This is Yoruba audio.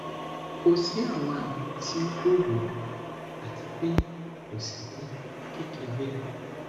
ko si awọn ami ti gbooro ati pe ko si mi kekere